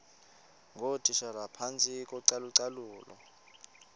ngootitshala phantsi kocalucalulo